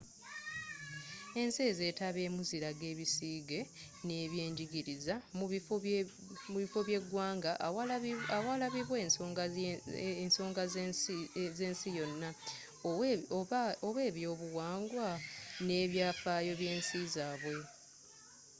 ensi ezetabyemu ziraga ebisiige nebyenjigiriza mu biffo byegwanga awalabirwa ensonga zensi yona oba ebyobuwangwa n'ebyafaayo byensi zabwe